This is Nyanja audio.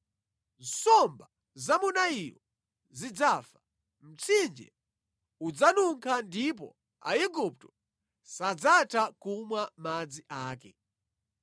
Nsomba za mu Nailo zidzafa, mtsinje udzanunkha ndipo Aigupto sadzatha kumwa madzi ake.’ ”